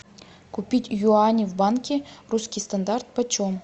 купить юани в банке русский стандарт почем